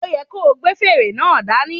O yẹ ko gbé fèrè náà dání